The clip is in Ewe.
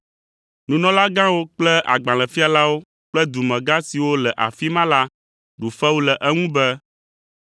Nunɔlagãwo kple agbalẽfialawo kple dumegã siwo le afi ma la ɖu fewu le eŋu be,